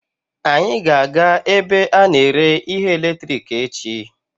Anyị ga-aga ebe a na-ere ihe eletiriki echi.